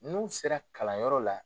N'u sera kalanyɔrɔ la.